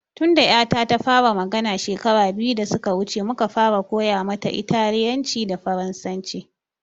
Tun da ƴata ta fara magana shekara biyu da suka wuce muka fara koya mata italyanci da farasanci